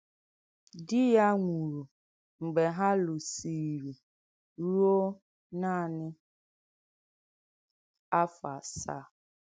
Dí yà nwùrù m̀gbè hà lụ̀sìrì rùò nànị̀ áfọ̀ ásàà.